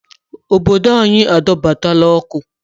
Obodo anyị adọbatala ọkụ